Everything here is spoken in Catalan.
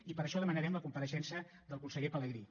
i per això demanarem la compareixença del conseller pelegrí